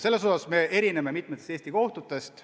Selles osas me erineme mitme riigi kohtutest.